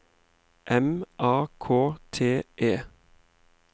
M A K T E